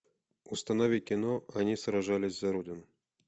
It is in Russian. установи кино они сражались за родину